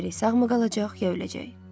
Bilmirik sağmı qalacaq, ya öləcək.